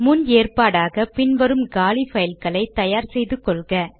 முன் ஏற்பாடாக பின் வரும் காலி பைல்களை தயார் செய்து கொள்க